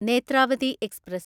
Netravati express